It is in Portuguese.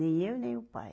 Nem eu e nem o pai.